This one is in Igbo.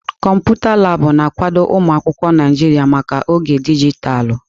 Kọmputa Laabụ̀ na-akwado ụmụ akwụkwọ Naijiria maka oge dijitalụ.